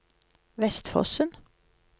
Vestfossen